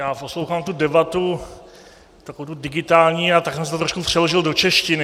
Já poslouchám tu debatu, takovou tu digitální, a tak jsem si to trošku přeložil do češtiny.